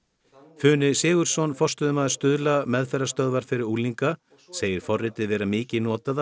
funi Sigurðsson forstöðumaður Stuðla meðferðarstöðvar fyrir unglinga segir forritið vera mikið notað af